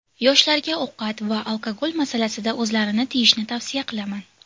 Yoshlarga ovqat va alkogol masalasida o‘zlarini tiyishni tavsiya qilaman.